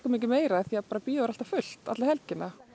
meira því bíóið er alltaf fullt alla helgina